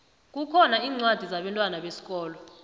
kukhona incwadi zabentwana besikolo